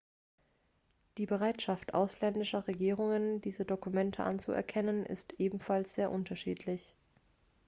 die bereitschaft ausländischer regierungen diese dokumente anzuerkennen ist ebenfalls sehr unterschiedlich